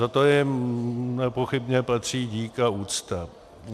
Za to jim nepochybně patří dík a úcta.